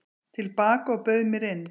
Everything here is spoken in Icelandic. til baka og bauð mér inn.